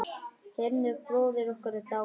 Hinrik bróðir okkar er dáinn.